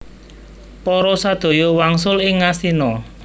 Para sadaya wangsul ing Ngastina